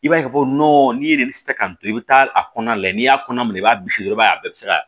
I b'a ye ka fɔ n'i ye de tɛ ka kan to i bɛ taa a kɔnɔna lajɛ n'i y'a kɔnɔ minɛ i b'a bisi i b'a ye a bɛɛ bɛ se ka